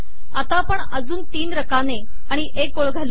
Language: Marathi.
आता आपण अजून तीन रकाने आणि एक ओळ घालू